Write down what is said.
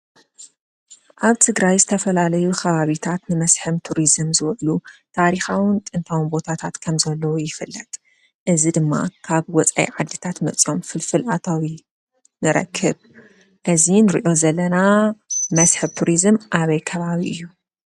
ኣብ ትግራይ ዝፈላለዩ ኸባቢታት ንመስሕብ ቱሪዝም ዝውዕሉ ታሪኻውን ጥንታውን ቦታታት ከም ዘለዉ ይፍለጥ፡፡ እዚ ድማ ካብ ወፃኢ ዓድታት መፂኦም ፍልፍል ኣታዊ ንረክብ ፡፡ እዚ ንሪኦ ዘለና መስሕብ ቱሪዝም ኣበይ ከባቢ እዩ?